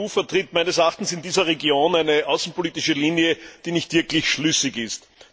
Die EU vertritt meines Erachtens in dieser Region eine außenpolitische Linie, die nicht wirklich schlüssig ist.